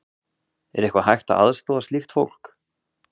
Er eitthvað hægt að aðstoða slíkt fólk?